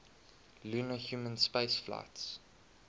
lunar human spaceflights